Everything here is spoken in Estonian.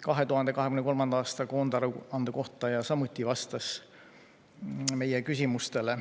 2023. aasta koondaruande kohta ja samuti vastas meie küsimustele.